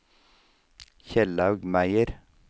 Kjellaug Meyer